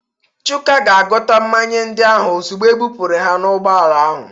Chuka ga-agụta mmanya ndị ahụ ozugbo ebupụrụ ha n'ụgbọala ahụ